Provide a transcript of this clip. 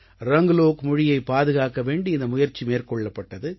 ரங்க்லோக் மொழியைப் பாதுகாக்க வேண்டி இந்த முயற்சி மேற்கொள்ளப்பட்டது